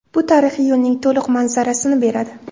Bu tarixiy yo‘lning to‘liq manzarasini beradi.